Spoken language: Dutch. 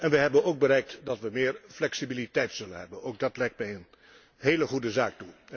Wij hebben ook bereikt dat we meer flexibiliteit zullen hebben. Dat lijkt mij een hele goede zaak.